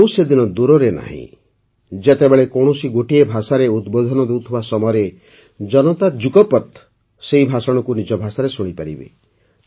ଆଉ ସେହିଦିନ ଦୂରରେ ନାହିିଁ ଯେତେବେଳେ କୌଣସି ଗୋଟିଏ ଭାଷାରେ ଉଦ୍ବୋଧନ ଦେଉଥିବା ସମୟରେ ଜନତା ଯୁଗପତ୍ ସେହି ଭାଷଣକୁ ନିଜ ଭାଷାରେ ଶୁଣିପାରିବେ